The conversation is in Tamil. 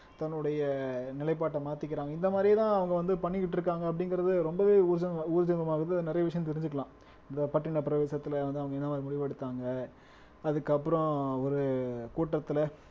தன்னுடைய நிலைப்பாட்டை மாத்திக்கிறாங்க இந்த மாதிரிதான் அவங்க வந்து பண்ணிக்கிட்டு இருக்காங்க அப்படிங்கிறது ரொம்பவே ஊர்ஜின ஊர்ஜிதமாகுது நிறைய விஷயம் தெரிஞ்சுக்கலாம் இந்த பட்டினப்பிரவேசத்துல வந்து அவங்க என்ன மாதிரி முடிவு எடுத்தாங்க அதுக்கப்புறம் ஒரு கூட்டத்துல